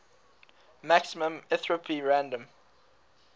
maximum entropy random